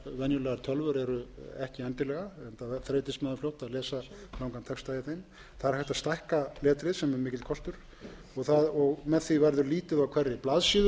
venjulegar tölvur eru ekki endilega enda þreytist maður fljótt að lesa langan texta í þeim það er hægt að stækka letrið sem er mikill kostur með því verður lítið á hverri blaðsíðu